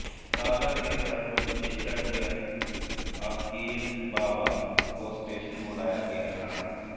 सागर के सर्प विशेषज्ञ अकील बाबा को स्टेशन बुलाया गया था